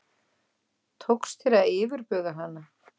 Tókst þér að yfirbuga hana?